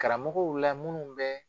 Karamɔgɔw la munnu bɛ